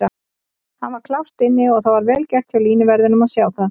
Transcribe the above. Hann var klárt inni og það var vel gert hjá línuverðinum að sjá það.